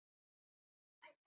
Gísli og Guðrún Björg.